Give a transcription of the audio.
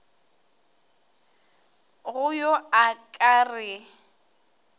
go yo a ka re